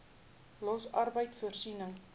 los arbeid voorsiening